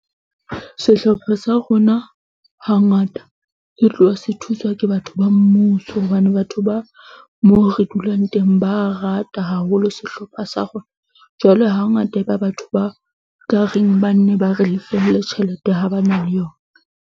Sehlopha sa rona hangata ke tloha se thuswa ke batho ba mmuso, hobane batho ba moo re dulang teng ba rata haholo sehlopha sa rona. Jwale hangata e ba batho ba ka reng ba nne ba re lefelle tjhelete, ha ba na le yona.